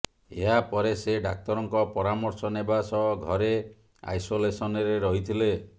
ଏହାପରେ ସେ ଡାକ୍ତରଙ୍କ ପରାମର୍ଶ ନେବା ସହ ଘରେ ଆଇସୋଲେସନରେ ରହିଥିଲେ